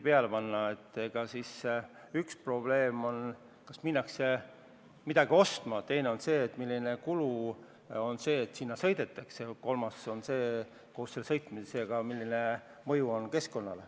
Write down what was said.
Üks tahk on, kas üldse minnakse midagi ostma, teine tahk on see, milline on kulu, kui sinna sõidetakse, ja kolmas see, milline on mõju keskkonnale.